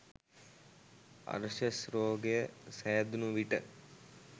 අර්ශස් රෝගය සෑදුණු විට